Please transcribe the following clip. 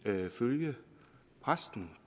følge præsten